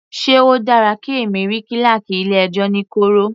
Sé o dára kí èmi rí kíláákì ilé ẹjọ́ ní kọ̀rọ̀.